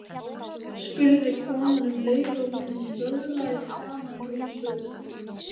spurði konan um leið og hún vöðlaði saman rúmfötunum.